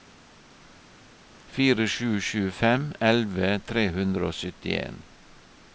fire sju sju fem elleve tre hundre og syttien